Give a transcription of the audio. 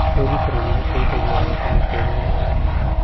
Kwĩrutĩra nĩ gũteithagia gwaka matũũra marũmu.